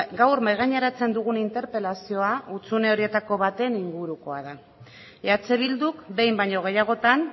gaur mahai gaineratzen dugun interpelazioa hutsune horietako baten ingurukoa da eh bilduk behin baino gehiagotan